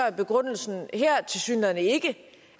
er begrundelsen her tilsyneladende ikke